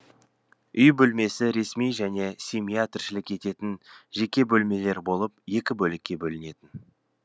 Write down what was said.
үй бөлмесі ресми және семья тіршілік ететін жеке бөлмелер болып екі бөлікке бөлінетін